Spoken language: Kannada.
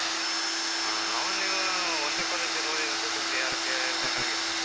ಆ ಅವ್ನ್ ನೀವೂ ಒಂದೇ college ನಲ್ಲ್ ಓದಿದ್ದ್ ಅಂತ ಸುದ್ದಿ, ಯಾರೋ ಹೇಳ್ದನ್ಗ್ ಆಗಿತ್ತ್ ನಂಗೆ.